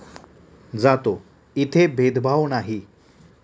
जातो, इथे भेदभाव नाही.